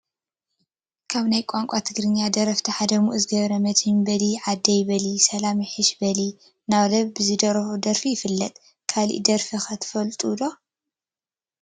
ካብ ናይ ቋንቋ ትግርኛ ደረፍቲ ሓደ ሙኡዝ ገ/መድህን በሊ ዓደይ በሊ....ሰላም ይሕሽ በሊ አናበለ ብዝደርፎ ደርፊ ይፍለጥ፡፡ ካሊእ ደርፊ ኸ ትፈልጥሉ ዶ?